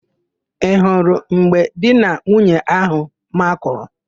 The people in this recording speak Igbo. Ị hụrụ mgbe di na nwunye áhụ̀ makụrụ?